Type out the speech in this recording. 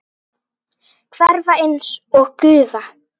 Hverfa einsog gufa.